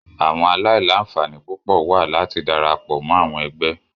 Awọn alailanfani pupọ wa lati darapọ mọ awọn ẹgbẹ.